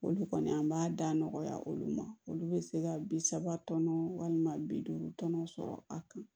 Olu kɔni an b'a da nɔgɔya olu ma olu be se ka bi saba tɔnɔ walima bi duuru tɔnɔ sɔrɔ a kan